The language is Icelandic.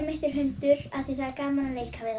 mitt er hundur af því það er gaman